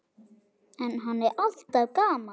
En hann er alltaf gamall.